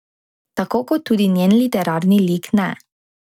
Tako kot tudi njen literarni lik ne.